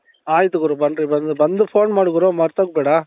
ಅಯ್ತು ಗುರು ಬನ್ರಿ ಬನ್ರಿ ಬಂದ್ಬಿಟ್ಟು phone ಮಾಡು ಗುರು ಮರ್ತೋಗ್ಬೇಡಾ